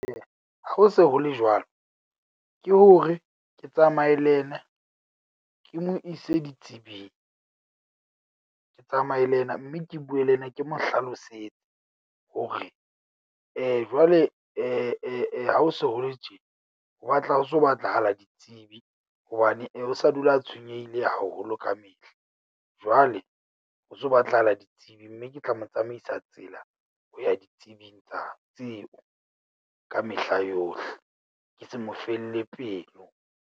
Eya, ha se ho le jwalo, ke hore ke tsamaye le yena ke mo ise ditsebing. Ke tsamaye le yena mme ke bue le yena, ke mo hlalosetse hore jwale ha ho so ho le tjena. Ho batla ho so batlahala ditsebi hobane o sa dula a tshwenyehile haholo ka mehla. Jwale ho so batlahala ditsebi, mme ke tla mo tsamaisa tsela ho ya ditsebing tsa tseo ka mehla yohle. Ke se mo felle pelo.